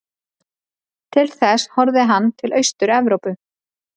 Til þess horfði hann til Austur-Evrópu.